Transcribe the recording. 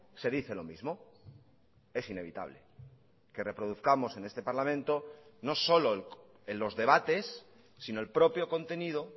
se dice lo mismo es inevitable que reproduzcamos en este parlamento no solo en los debates sino el propio contenido